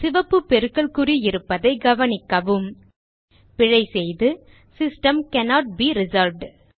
சிவப்பு பெருக்கல் குறி இருப்பதைக் கவனிக்கிறோம் பிழை செய்து சிஸ்டம் கன்னோட் பே ரிசால்வ்ட்